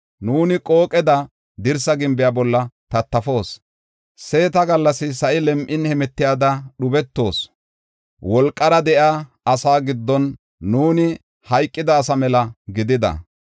Nuuni qooqeda dirsaa gimbiya bolla tattafoos; seeta gallas, sa7i lem7in hemetiyada dhubetoos; wolqara de7iya asaa giddon nuuni hayqida asa mela gidida.